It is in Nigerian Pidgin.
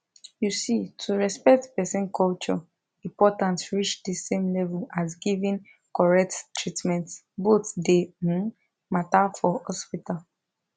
you see to respect person culture important reach the same level as giving correct treatment both dey um matter for hospital